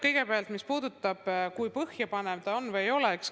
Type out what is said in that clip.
Kõigepealt sellest, kui põhjapanev ta on või ei ole.